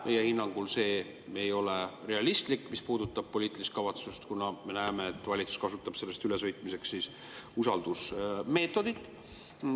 Meie hinnangul see ei ole realistlik, mis puudutab poliitilist kavatsust, kuna me näeme, et valitsus kasutab sellest ülesõitmiseks usaldusmeetodit.